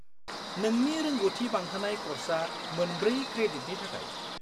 -नोंनि रोंग'थि बांहोनाय कर्सआ मोनब्रै क्रेडिटनि थाखाय।